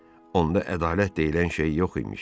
Onda ədalət deyilən şey yox imiş.